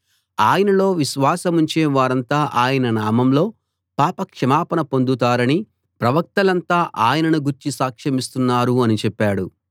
ఆయనలో విశ్వాసముంచే వారంతా ఆయన నామంలో పాపక్షమాపణ పొందుతారని ప్రవక్తలంతా ఆయనను గూర్చి సాక్షమిస్తున్నారు అని చెప్పాడు